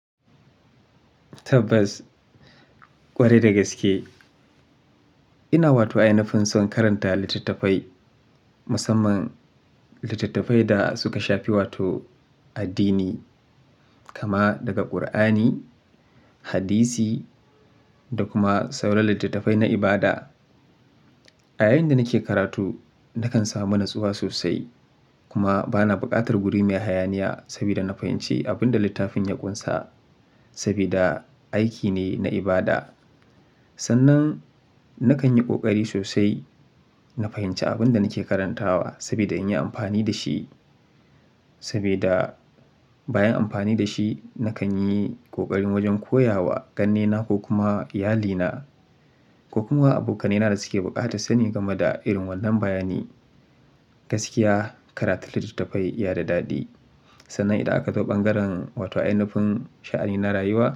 Tabbas, ƙwarai da gaske. Ina wato ainafin son karanta littattafai, musamman littattafai da suka shafi wato addini. Kama daga Qur'ani, Hadisi, da kuma sauran littattafai na ibada. A yayin da nake karatu nakan samu natsuwa sosai kuma bana bukatar guri mai hayaniya sabida na fahimci abin da littafin ya ƙunsa. Sabida aiki ne na ibada. Sannan nakan yi ƙoƙari sosai na fahimci abin da nake karantawa sabida in yi amfani da shi. Sabida bayan amfani da shi nakan yi ƙoƙarin wajen koya wa ƙannena ko kuma iyalina. Ko kuma abokanai na da suke buƙatar sani game da irin wannan bayani. Gaskiya karatu littattafai iya da daɗi. Sannan idan aka zo ɓangaren wato ainafin sha'ani na rayuwa.